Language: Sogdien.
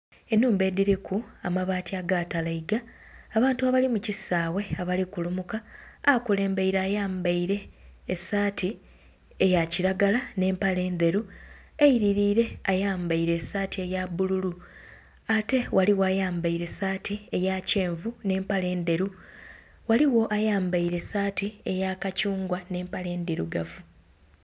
Enhumba edhiriku amabaati agaatalaiga abantu abali mukisawe abali kulumuka akulembaire ayambaire esaati eya kiragala n'empale endheru, eiririre ayambaire esaati eya bbululu ate ghaligho ayambaire saati eya kyenvu n'empale endheru, ghaligho ayambaire esaati eya kathungwa n'empale endhirugavu.